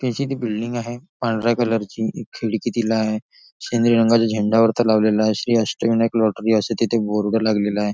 त्याची ती बिल्डिंग आहे पांढऱ्या कलर ची एक खिडकी तिला आहे शेंद्री रंगाचा झेंडा वरती लावलेला आहे श्री अष्टविनायक लॉटरी असं तिथं बोर्ड लागलेला आहे.